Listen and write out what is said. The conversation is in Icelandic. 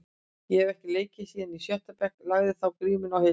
Ég hef ekki leikið síðan í sjötta bekk, lagði þá grímuna á hilluna.